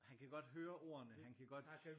Han kan godt høre ordene han kan godt